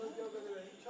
İki dənə gətir.